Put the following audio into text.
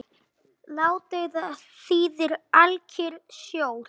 Ládeyða þýðir alkyrr sjór.